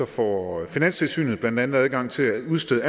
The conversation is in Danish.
får finanstilsynet blandt andet adgang til at udstede